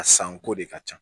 A sanko de ka ca